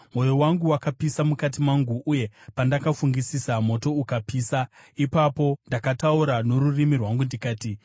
Mwoyo wangu wakapisa mukati mangu, uye pandakafungisisa, moto ukapisa; ipapo ndakataura norurimi rwangu ndikati: